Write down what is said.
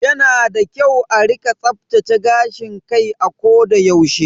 Yana da kyau a rika tsaftace gashin kai a koda yaushe.